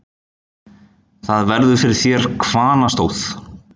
Þar verður fyrir þér hvannastóð.